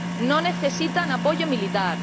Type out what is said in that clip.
No necesitan apoyo militar.